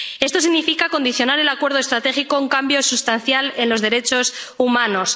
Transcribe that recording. Esto significa condicionar el acuerdo estratégico a un cambio sustancial en los derechos humanos.